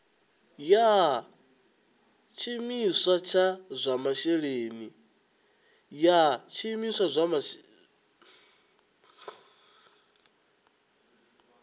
ya tshiimiswa tsha zwa masheleni